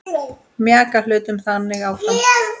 Mjaka hlutum þannig áfram.